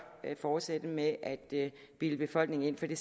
fortsætte med at bilde befolkningen ind for det